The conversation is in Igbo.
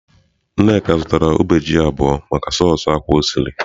Nneka zụtara ube ji abuo maka soosị ákwá o siri.